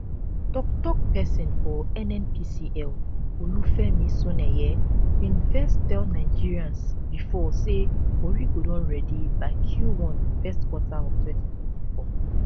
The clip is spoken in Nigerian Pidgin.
tok tok pesin for nnpcl olufemi soneye bin first tell nigerians before say warri go don ready by q one first quarter of twenty